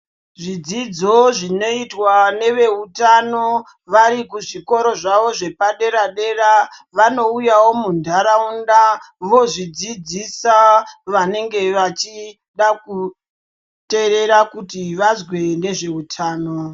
Zvidzidzo zvinoitwa neveutano varikuzvikora zvavo zvepadera dera vanouyawo mundaraunda zvozvidzidzisa vanenge vachida kuteerera kuti vazwe ngezveutano .